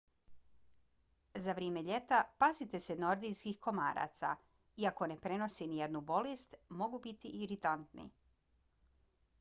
za vrijeme ljeta pazite se nordijskih komaraca. iako ne prenose nijednu bolest mogu biti iritantni